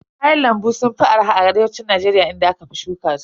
Kayan lambu sun fi arha a arewacin Najeriya inda aka fi shuka su.